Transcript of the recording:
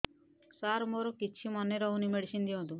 ସାର ମୋର କିଛି ମନେ ରହୁନି ମେଡିସିନ ଦିଅନ୍ତୁ